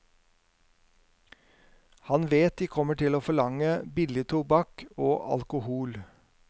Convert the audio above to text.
Han vet de kommer til å forlange billig tobakk og alkohol.